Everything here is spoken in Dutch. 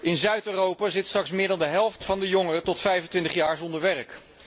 In Zuid Europa zit straks meer dan de helft van de jongeren tot 25 jaar zonder werk.